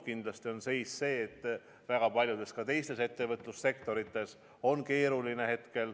Kindlasti on seis ka selline, et väga paljudes teisteski ettevõtlussektorites on hetkel keeruline.